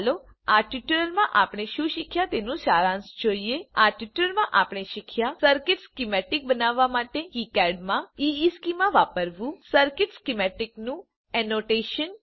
ચાલો આ ટ્યુટોરીયલ માં આપણે શું શીખ્યા તેનું સારાંશ જોઈએ આ ટ્યુટોરીયલ માં આપણે શીખ્યા સર્કિટ સ્કીમેતિક બનાવવા માટે કિકાડ માં ઇશ્ચેમાં વાપરવું સર્કિટ સ્કીમેતિકનું એનોટેશન